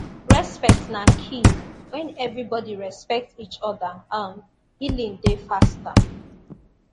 respect na key when everybody respect each other um healing dey faster